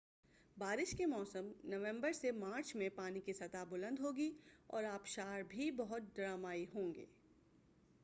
بارش کے موسم نومبر سے مارچ میں پانی کی سطح بلند ہوگی اور آبشار بھی بہت ڈرامائی ہوں گے۔